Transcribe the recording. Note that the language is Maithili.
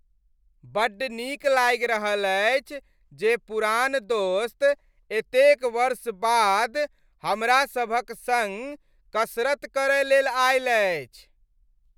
बड्ड नीक लागि रहल अछि जे पुरान दोस्त एतेक वर्ष बाद हमरासभक सङ्ग कसरत करय लेल आयल अछि।